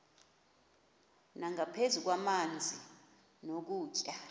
nangaphezu kwamanzi nokutya